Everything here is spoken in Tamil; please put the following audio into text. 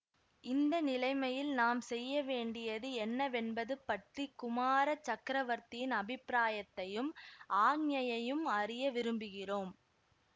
இந்த நிலைமையில் நாம் செய்யவேண்டியது என்னவென்பது பற்றி குமார சக்கரவர்த்தியின் அபிப்பிராயத்தையும் ஆக்ஞையையும் அறிய விரும்புகிறோம்